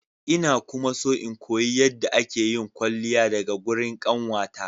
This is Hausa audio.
Ina kuma so in koyi yadda akeyin kwalliya daga gurin kanwata.